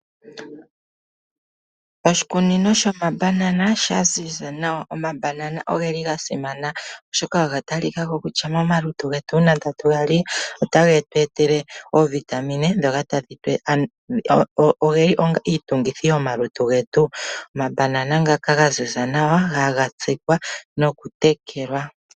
Oshikunino shomabanana shaziza nawa omabanana ogeli gasimana oshoka oga talikao kutya momalutu getu uuna tatu gali otagetu etele oovitamine ndhoka tadhi tugitha omalutu getu, omabanana ngaka gaziza nawa haga tsikwa nokutekelwa.